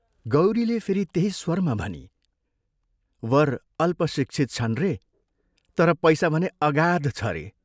गौरीले फेरि त्यही स्वरमा भनी, "वर अल्पशिक्षित छन् रे तर पैसा भने अगाध छ रे।